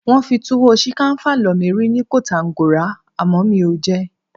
Wọ́n fi túwó-ṣìkànfà lọ mí rí ni Kotàngòra àmọ́ mi ò jẹ ẹ́.